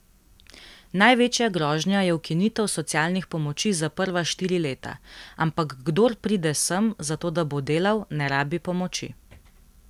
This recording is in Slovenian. Največja grožnja je ukinitev socialnih pomoči za prva štiri leta, ampak kdor pride sem, zato da bo delal, ne rabi pomoči.